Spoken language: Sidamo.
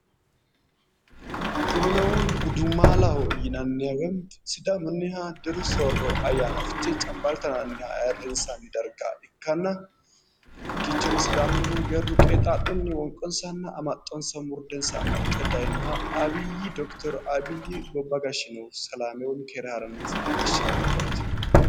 Kunino gudumaalaho yinanniha woyimmi sidaamunniha diru soorro ayyaana fichee cambalaalla yinanniha ayirrinsanni darga ikkanna hakkiichono sidaamunnihu geerru qeexaa'lunni wonqonsanna amaxxonsa urdensa amaxxe dayinoha abiyyi dokiteri abiyyi gobba gashinohu keere harannansa leellishano yaate